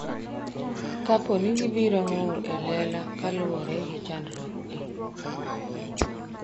kapo ni gibiro ng'ur e lela kaluwore gi chandruokgi